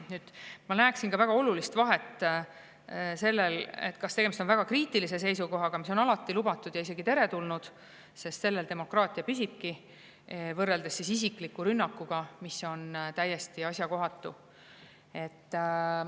Ma ka väga olulist vahet sellel, kas tegemist on väga kriitilise seisukohaga, mis on alati lubatud ja isegi teretulnud, sest sellel demokraatia püsibki, või isikliku rünnakuga, mis on täiesti asjakohatu.